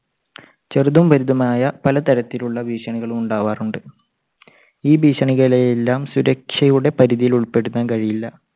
ചെറുതും വലുതുമായ പല തരത്തിലുള്ള ഭീഷണികളും ഉണ്ടാകാറുണ്ട്. ഈ ഭീഷണികളെ എല്ലാം സുരക്ഷയുടെ പരിധിയിൽ ഉൾപ്പെടുത്താൻ കഴിയില്ല.